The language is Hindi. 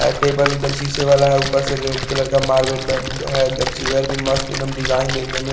ऐ टेबल एक दम शीशे वाला हैं ऊपर से रेड कलर का मार्बल ब-ब हैं चेयर भी मस्त एक दम डिजाईन देखने में--